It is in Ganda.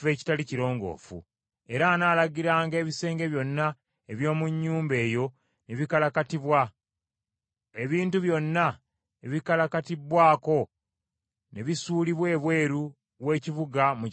Era anaalagiranga ebisenge byonna eby’omu nnyumba eyo ne bikalakatibwa, ebintu byonna ebikalakatibbwako ne bisuulibwa ebweru w’ekibuga mu kifo ekitali kirongoofu.